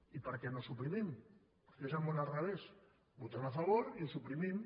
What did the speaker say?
i per què no ho suprimim que és el món al revés votem hi a favor i ho suprimim